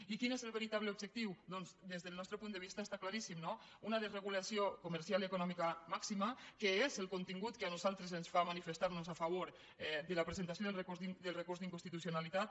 i quin és el veritable objectiu doncs des del nostre punt de vista està claríssim no una desregulació comercial i econòmica màxima que és el contingut que a nosaltres ens fa manifestar nos a favor de la presentació del recurs d’inconstitucionalitat